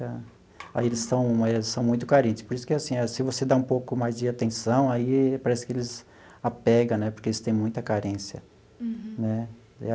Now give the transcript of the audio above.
Aí eles são eles são muito carente, por isso que é assim, se você dá um pouco mais de atenção, aí parece que eles apega né, porque eles têm muita carência. Uhum. Né?